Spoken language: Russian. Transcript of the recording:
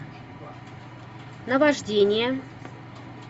наваждение